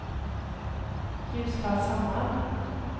Ljusfallshammar